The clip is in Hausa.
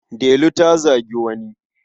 Delu ta zagi wani.